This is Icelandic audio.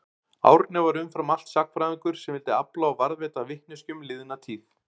Árni var umfram allt sagnfræðingur sem vildi afla og varðveita vitneskju um liðna tíð.